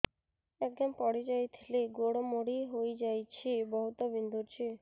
ଆଜ୍ଞା ପଡିଯାଇଥିଲି ଗୋଡ଼ ମୋଡ଼ି ହାଇଯାଇଛି ବହୁତ ବିନ୍ଧୁଛି